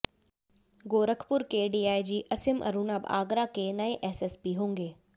गोरखपुर के डीआईजी असीम अरुण अब आगरा के नए एसएसपी होंगे